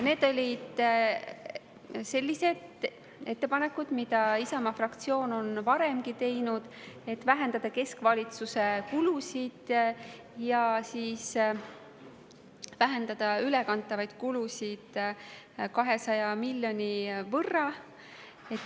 Need olid sellised ettepanekud, mida Isamaa fraktsioon on varemgi teinud: vähendada keskvalitsuse kulusid ja vähendada ülekantavaid kulusid 200 miljoni euro võrra.